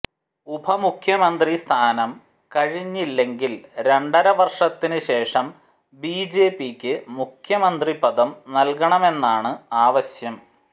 ഉപമുഖ്യമന്ത്രി സ്ഥാനം കഴിഞ്ഞില്ലെങ്കിൽ രണ്ടരവർഷത്തിന് ശേഷം ബിജെപിക്ക് മുഖ്യമന്ത്രി പദം നൽകണമെന്നാണ് ആവശ്യം